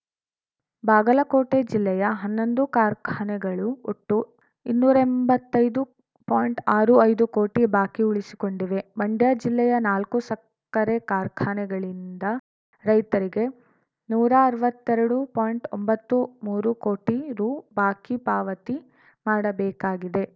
ಬಾಗಲಕೋಟೆ ಜಿಲ್ಲೆಯ ಹನ್ನೊಂದು ಕಾರ್ಖಾನೆಗಳು ಒಟ್ಟು ಇನ್ನೂರೆಂಬತ್ತೈದುಪಾಯಿಂಟ್ ಆರು ಐದು ಕೋಟಿ ಬಾಕಿ ಉಳಿಸಿಕೊಂಡಿವೆ ಮಂಡ್ಯ ಜಿಲ್ಲೆಯ ನಾಲ್ಕು ಸಕ್ಕರೆ ಕಾರ್ಖಾನೆಗಳಿಂದ ರೈತರಿಗೆ ನೂರಾ ಅರ್ವತ್ತೆರಡು ಪಾಯಿಂಟ್ಒಂಬತ್ತು ಮೂರು ಕೋಟಿ ರು ಬಾಕಿ ಪಾವತಿ ಮಾಡಬೇಕಾಗಿದೆ